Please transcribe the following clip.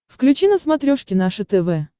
включи на смотрешке наше тв